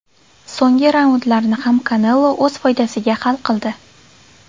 So‘nggi raundlarni ham Kanelo o‘z foydasiga hal qildi.